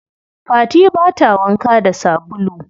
Fati bata wanka da sabulu.